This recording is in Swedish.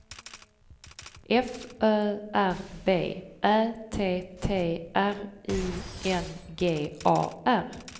F Ö R B Ä T T R I N G A R